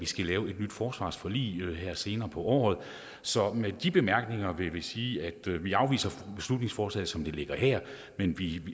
skal lave et nyt forsvarsforlig senere på året så med de bemærkninger vil jeg sige at vi afviser beslutningsforslaget som det ligger her men vi